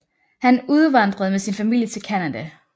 Han udvandrede med sin familie til Canada